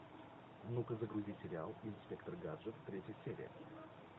ну ка загрузи сериал инспектор гаджет третья серия